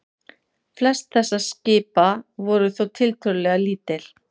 Flest þessara skipa voru þó tiltölulega lítil.